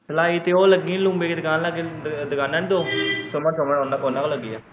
ਸਲਾਈ ਤੇ ਲੱਗੀ ਉਹ ਲੂੰਬੇ ਦੇ ਦੁਕਾਨ ਲਾਗੇ ਦੁਕਾਨਾਂ ਹੈਨੀ ਦੋ ਸੁਮਨ ਸੁਮਨ ਉਨਾਂ ਕੋਲ ਲੱਗੀ ਐਂ।